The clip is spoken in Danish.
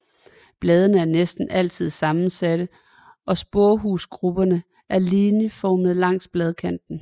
Bladene er næsten altid sammensatte og sporehusgrupperne er linjeformede langs bladkanten